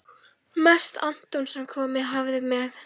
Mest Anton sem komið hafði með